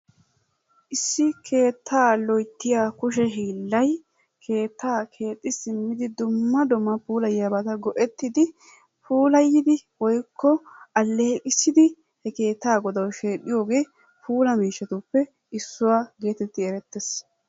Issi keettaa loyittiya kushe hiillay keettaa keexxi simmidi dumma dumma puulayiyabata go'ettidi puulayidi woyikko alleeqissidi he keettaa godawu shedhdhiyogee puula miishshatuppe issuwa getetti erettes.